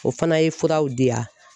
O fana ye furaw di yan